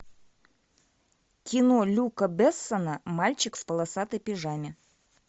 кино люка бессона мальчик в полосатой пижаме